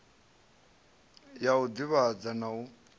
ya u divhadza na u